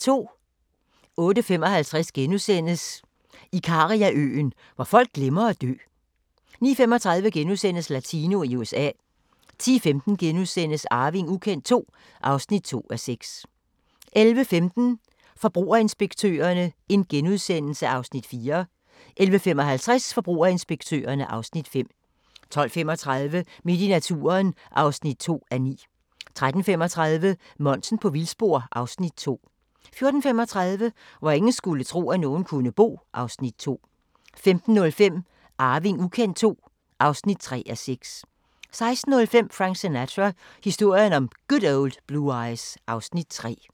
08:55: Ikariaøen – hvor folk glemmer at dø * 09:35: Latino i USA * 10:15: Arving ukendt II (2:6)* 11:15: Forbrugerinspektørerne (Afs. 4)* 11:55: Forbrugerinspektørerne (Afs. 5) 12:35: Midt i naturen (2:9) 13:35: Monsen på vildspor (Afs. 2) 14:35: Hvor ingen skulle tro, at nogen kunne bo (Afs. 2) 15:05: Arving ukendt II (3:6) 16:05: Frank Sinatra – historien om Good Old Blue Eyes (Afs. 3)